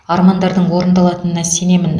армандардың орындалатынына сенемін